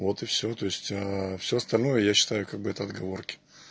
вот и всё то есть а всё остальное я считаю как бы это отговорки